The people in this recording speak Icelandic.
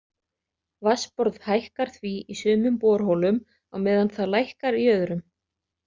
Vatnsborð hækkar því í sumum borholum á meðan það lækkar í öðrum.